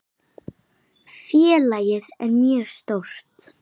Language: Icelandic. Félagið er mjög stórt.